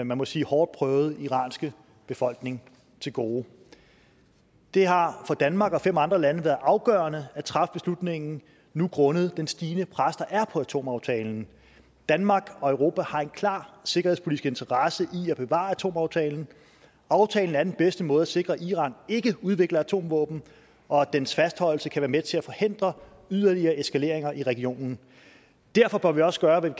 man må sige hårdt prøvede iranske befolkning til gode det har for danmark og fem andre lande været afgørende at træffe beslutningen nu grundet det stigende pres der er på atomaftalen danmark og europa har en klar sikkerhedspolitisk interesse i at bevare atomaftalen aftalen er den bedste måde til at sikre at iran ikke udvikler atomvåben og dens fastholdelse kan være med til at forhindre yderligere eskaleringer i regionen derfor bør vi også gøre hvad